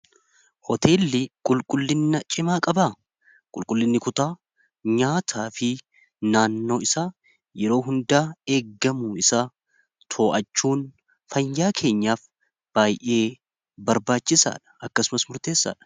hoteelli qulqullinna cimaa qabaa qulqullinni kutaa nyaataa fi naannoo isa yeroo hundaa eeggamu isa too'achuun fayyaa keenyaaf baay'ee barbaachisaa dha akkasumas murteessaadha